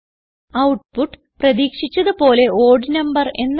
output പ്രതീക്ഷിച്ചത് പോലെ odd number എന്നാണ്